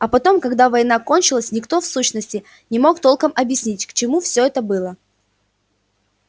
а потом когда война кончилась никто в сущности не мог толком объяснить к чему всё это было